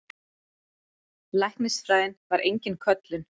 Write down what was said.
Læknisfræðin var engin köllun.